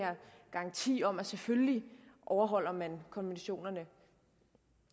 garanti om at selvfølgelig overholder man konventionerne